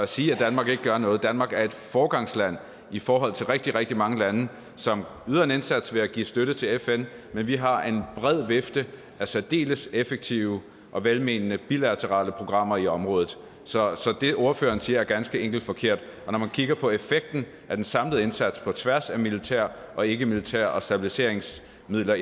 sige at danmark ikke gør noget danmark er et foregangsland i forhold til rigtig rigtig mange lande som yder en indsats ved at give støtte til fn men vi har en bred vifte af særdeles effektive og velmenende bilaterale programmer i området så så det ordføreren siger er ganske enkelt forkert når man kigger på effekten af den samlede indsats på tværs af det militære og ikkemilitære og stabiliseringssmidler